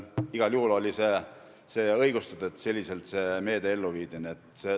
Igal juhul oli õigustatud, et see meede selliselt ellu viidi.